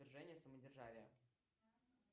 свержение самодержавия